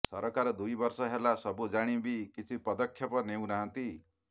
ସରକାର ଦୁଇ ବର୍ଷ ହେଲା ସବୁ ଜାଣି ବି କିଛି ପଦକ୍ଷେପ ନେଉନାହାନ୍ତି